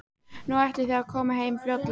Nú, ætlið þið að koma heim fljótlega?